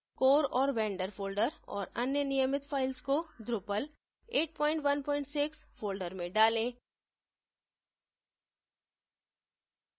core और vendor folders और अन्य नियमित files को drupal816 folders में डालें